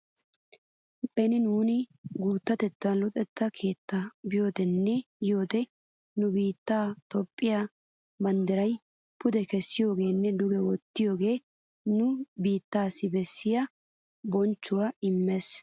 Beni nuuni guuttatettan luxetta keettaa biyoodenne yiyoode nu biittee toophphee banddiraa pude kessiyoogaaninne duge wottiyooga nu biiteesi bessiya bonchchuwaa imeetes.